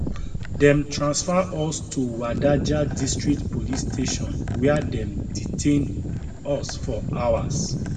dem transfer us to wadajir district police station wia dem detain us for hours